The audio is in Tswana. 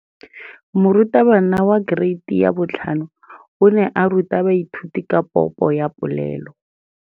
Moratabana wa kereiti ya 5 o ne a ruta baithuti ka popô ya polelô.